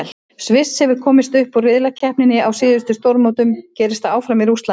Sviss hefur komist upp úr riðlakeppninni á síðustu stórmótum, gerist það áfram í Rússlandi?